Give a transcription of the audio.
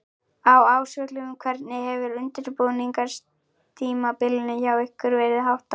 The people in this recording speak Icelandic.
Á Ásvöllum Hvernig hefur undirbúningstímabilinu hjá ykkur verið háttað?